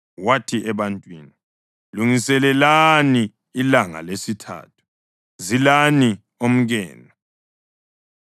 Wathi ebantwini, “Lungiselelani ilanga lesithathu. Zilani omkenu.”